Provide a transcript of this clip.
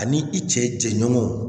Ani i cɛ jɛɲɔgɔnw